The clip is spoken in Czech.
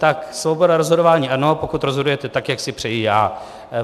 Tak svoboda rozhodování ano, pokud rozhodujete tak, jak si přeji já.